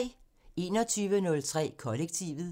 21:03: Kollektivet